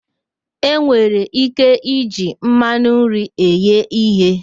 E nwere ike iji mmanụ nri eghe ihe